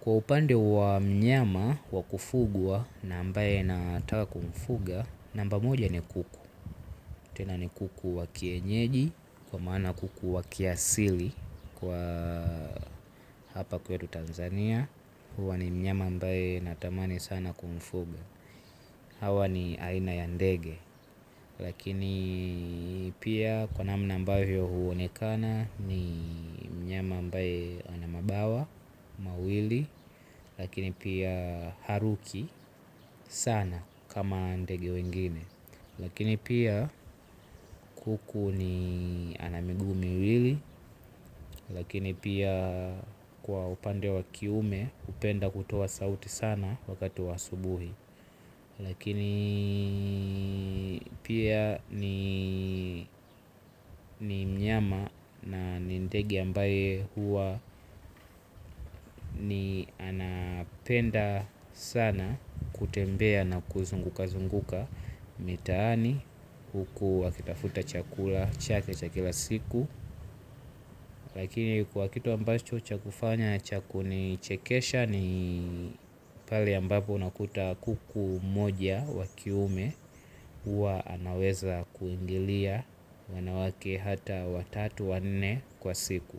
Kwa upande wa mnyama wa kufugwa na ambaye nataka kumfuga, namba moja ni kuku. Tena ni kuku wa kienyeji, kwa maana kuku wa kiasili kwa hapa kwetu Tanzania. Huwa ni mnyama ambae natamani sana kumfuga. Hawa ni aina ya ndege. Lakini pia kwa namna ambayo huonekana ni mnyama ambaye ana mabawa mawili. Lakini pia haruki sana kama ndege wengine. Lakini pia kuku ana miguu miwili. Lakini pia kwa upande wa kiume hupenda kutoa sauti sana wakati wa asubuhi. Lakini pia ni mnyama na ndege ambaye huwa ni anapenda sana kutembea na kuzungukazunguka mitaani huku wakitafuta chakula chake cha kila siku. Lakini kwa kitu ambacho cha kufanya cha kunichekesha ni pale ambapo unakuta kuku mmoja wa kiume huwa anaweza kuingilia wanawake hata watatu wanne kwa siku.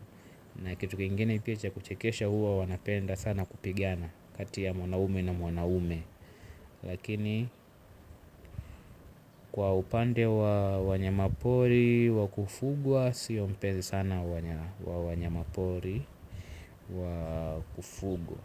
Na kitu kingine pia cha kuchekesha huwa wanapenda sana kupigana. Kati ya mwanaume na mwanaume. Lakini kwa upande wa wanyama pori wa kufugwa siyo mpenzi sana wa wanyama pori wa kufugwa.